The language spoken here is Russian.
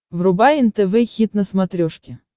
врубай нтв хит на смотрешке